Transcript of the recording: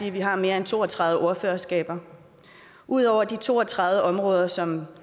at vi har mere end to og tredive ordførerskaber udover de to og tredive områder som